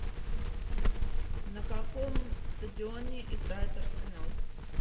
на каком стадионе играет арсенал